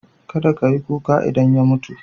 Kada ta yi kuka idan ya mutu.